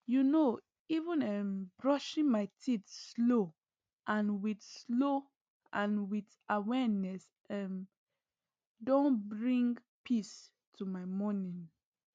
you know even um brushing my teeth slow and with slow and with awareness um don bring peace to my morning